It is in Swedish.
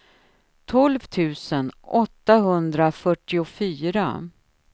tolv tusen åttahundrafyrtiofyra